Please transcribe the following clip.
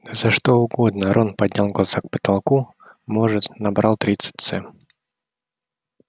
да за что угодно рон поднял глаза к потолку может набрал тридцать ц